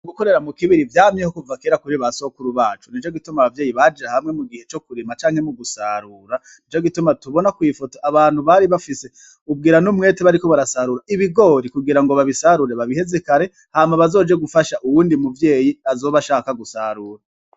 Gukorera mukibiribiri vyamyeho kuva kera kuri ba sokuru bacu ,nicogituma Abavyeyi baja hamwe mugihe co kurima no mugusarura, nicogituma tubona kwifoto abantu bari bafis'ubwira n'umwete bariko barasarura ibikugirango babisarure babiheze kare hama bazoje gufasha uwundi muvyeyi azoba ashaka gusarura.